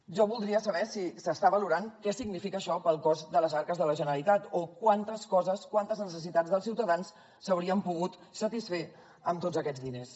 jo voldria saber si s’està valorant què significa això pel cost de les arques de la generalitat o quantes coses quantes necessitats dels ciutadans s’haurien pogut satisfer amb tots aquests diners